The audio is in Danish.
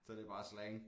Så det bare slang